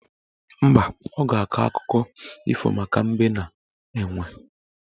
Mba, ọ ga-akọ akụkọ ifo maka Mbe na Enwe